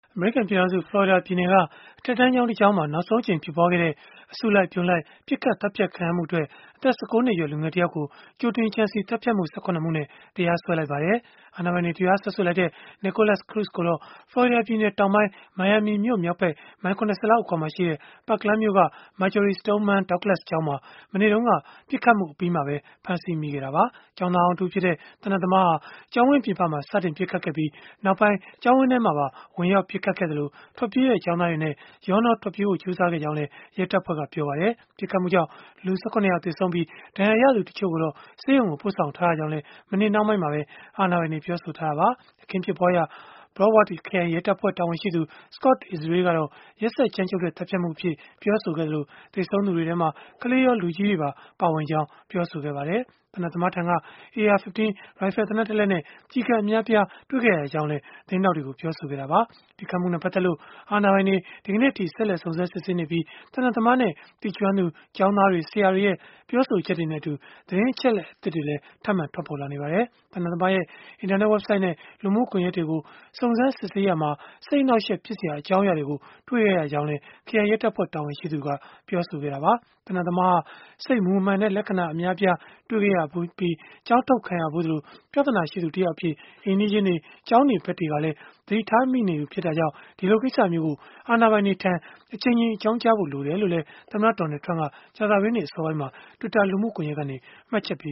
အမေရိကန် ပြည်ထောင်စု ဖလော်ရီဒါပြည်နယ်က အထက်တန်းကျောင်း တကျောင်းမှာ နောက်ဆုံးအကြိမ် ဖြစ်ပွားခဲ့တဲ့ အစုလိုက်အပြုံလိုက် ပစ်ခတ်သတ်ဖြတ် ခံရမှုအတွက် အသက် ၁၉ နှစ်အရွယ်၊ လူငယ်တယောက်ကို ကြိုတင်ကြံစည်သတ်ဖြတ်မှု ၁၇ မှုနဲ့ တရားစွဲလိုက်ပါတယ်။ အာဏာပိုင်တွေ တရားစွဲဆိုလိုက်တဲ့ Nikolas Cruz ကိုတော့ ဖလော်ရီဒါပြည်နယ်တောင်ပိုင်း မိုင်ယာမီမြို့မြောက်ဘက် မိုင် ၇၀ လောက် အကွာမှာရှိတဲ့၊ Parkland မြို့က Marjory Stoneman Douglas ကျောင်းမှာ မနေ့တုန်းက ပစ်ခတ်မှုအပြီးမှာပဲ ဖမ်းဆီးမိခဲ့တာပါ။ ကျောင်းသားဟောင်းတဦးဖြစ်တဲ့ သေနတ်သမားဟာ ကျောင်းဝင်းပြင်ပမှာ စတင်ပစ်ခတ်ခဲ့ပြီး၊ နောက်ပိုင်း ကျောင်းဝင်းထဲမှာပါ ဝင်ရောက် ပစ်ခတ်ခဲ့သလို၊ ထွက်ပြေးတဲ့ ကျောင်းသားတွေနဲ့ ရောနှောထွက်ပြေးဖို့ ကြိုးစားခဲ့ကြောင်းလည်း ရဲတပ်ဖွဲ့ကပြောပါတယ်။ ပစ်ခတ်မှုကြောင့် လူ ၁၇ ယောက် သေဆုံးခဲ့ပြီး၊ ဒဏ်ရာရသူတွေကိုတော့ ဆေးရုံကို ပို့ဆောင်ထားရကြောင်းလည်း မနေ့နှောင်းပိုင်းမှာပဲ အာဏာပိုင်တွေ ပြောဆိုထားတာပါ။ အခင်းဖြစ်ပွားရာ Broward ခရိုင်ရဲတပ်ဖွဲ့ တာဝန်ရှိသူ Scott Israel ကတော့ ရက်စက်ကြမ်းကြုတ်တဲ့ သတ်ဖြတ်မှုအဖြစ် ပြောဆိုခဲ့သလို၊ သေဆုံးသူတွေထဲမှာ ကလေးရော၊ လူကြီးတွေပါ ပါဝင်ကြောင်း ပြောဆိုခဲ့ပါတယ်။ သေနတ်သမားထံက AR-15 ရိုင်ဖယ် သေနတ်တလက်နဲ့ ကျည်ကပ်အများအပြားကို တွေ့ခဲ့ရကြောင်းလည်း သတင်းထောက်တွေကို ပြောဆိုခဲ့တာပါ။ ပစ်ခတ်မှုနဲ့ ပတ်သက်လို့ အာဏာပိုင်တွေ ဒီကနေ့အထိ ဆက်လက် စုံစမ်းစစ်ဆေးနေကြပြီး၊ သေနတ်သမားနဲ့ သိကျွမ်းသူ ကျောင်းသားတွေ ဆရာတွေရဲ့ ပြောဆိုချက်တွေနဲ့အတူ သတင်းအချက်အလက်သစ်တွေလည်း ထပ်မံထွက်ပေါ်လာနေပါတယ်။ သေနတ်သမားရဲ့ အင်တာနက်ဝဘ်ဆိုဒ်နဲ့ လူမှုကွန်ယက်တွေကို စုံစမ်းစစ်ဆေးရာမှာ စိတ်အနှောက်အယှက် ဖြစ်စရာ အကြောင်းအရာတွေကို တွေ့ခဲ့ရကြောင်းလည်း ခရိုင်ရဲတပ်ဖွဲ့ တာဝန်ရှိသူက ပြောဆိုခဲ့တာပါ။ သေနတ်သမားဟာ စိတ်မူမမှန်တဲ့ လက္ခဏာ အများအပြားတွေ့ခဲ့ရပြီး၊ ကျောင်းထုတ်ခံရတဲ့အထိ ဖြစ်ခဲ့ရသလို၊ ပြဿနာရှိသူ တယောက်အဖြစ် အိမ်နီးချင်းတွေ ကျောင်းနေဘက်တွေကလည်း သတိထားမိနေသူ ဖြစ်တာကြောင့် ဒီလိုကိစ္စမျိုးကို အာဏာပိုင်တွေထံ အကြိမ်ကြိမ် အကြောင်းကြားဖို့ လိုတယ်လို့လည်း သမ္မတ Donald Trump က ကြာသပတေးနေ့ အစောပိုင်းမှာ Twitter လူမှုကွန်ယက်ကနေ မှတ်ချက်ပ